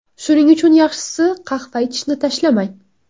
Shuning uchun yaxshisi, qahva ichishni tashlamang.